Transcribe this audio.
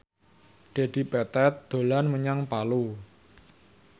Dedi Petet dolan menyang Palu